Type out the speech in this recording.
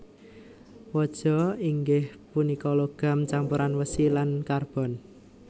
Waja inggih punika logam campuran wesi lan karbon